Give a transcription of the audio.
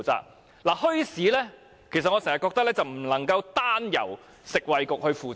我覺得墟市政策不能夠單由食衞局負責。